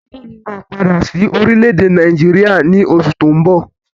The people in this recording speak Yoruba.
Bàbá mi máa padà sí orílẹ̀ èdè Nàìjíríà ní oṣù tí ó ń bọ̀